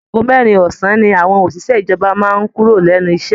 Àago mẹ́rin ọ̀sán ní àwọn òṣìṣẹ́ ìjọba máa ń kúrò lẹ́nu iṣẹ́